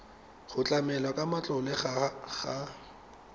go tlamelwa ka matlole ga